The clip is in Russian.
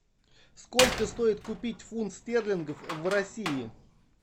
сколько стоит купить фунт стерлингов в россии